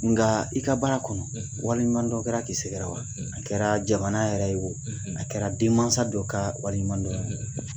Nka i ka baara kɔnɔ waleɲudɔnɔ kɛra k'i sɛgɛrɛ wa a kɛra jamana yɛrɛ ye o a kɛra denmansa dɔ ka walima dɔ ye